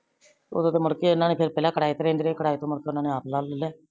ਓਦੋ ਤੋ ਮੁੜਕੇ ਏਨਾ ਨੇ ਫੇਰ ਪੇਲਾ ਕਰਾਏ ਤੇ ਰੇੰਦੇ ਰਾਏ ਕਰਾਏ ਤੋ ਮੁੜ ਕੇ ਓਨਾ ਨੇ ਆਪ ਲੈ ਲੇਲਿਆ